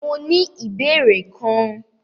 Mó ní ìbéèrè kan.